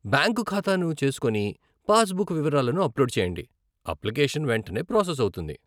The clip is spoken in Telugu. బ్యాంకు ఖాతాను చేసుకొని, పాస్ బుక్ వివరాలను అప్లోడ్ చేయండి, అప్లికేషన్ వెంటనే ప్రాసెస్ అవుతుంది.